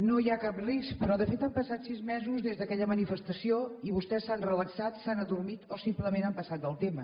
no hi ha cap risc però de fet han passat sis mesos des d’aquella manifestació i vostès s’han relaxat s’han adormit o simplement han passat del tema